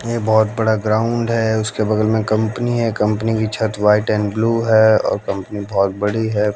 ये बहोत बड़ा ग्राउंड है उसके बगल में कंपनी है कंपनी की छत व्हाइट एंड ब्लू है और कंपनी बहोत बड़ी है।